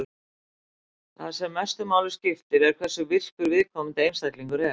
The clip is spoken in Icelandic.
Það sem mestu máli skiptir er hversu virkur viðkomandi einstaklingur er.